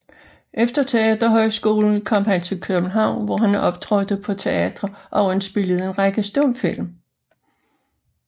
Efter teaterhøjskolen kom han til København hvor han optrådte på teatre og indspillede en række stumfilm